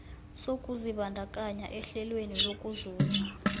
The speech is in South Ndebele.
sokuzibandakanya ehlelweni lokuzuza